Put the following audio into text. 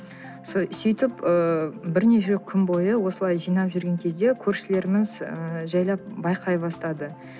сөйтіп ыыы бірнеше күн бойы осылай жинап жүрген кезде көршілеріміз і жайлап байқай бастады